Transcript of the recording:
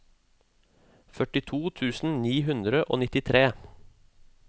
førtito tusen ni hundre og nittitre